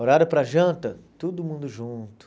Horário para janta, todo mundo junto.